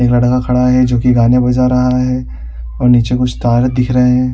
एक लड़का खड़ा है जो कि गाने बजा रहा है और नीचे कुछ तार दिख रहे हैं।